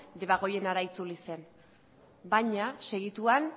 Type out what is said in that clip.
debagoienara itzuli zen baina segituan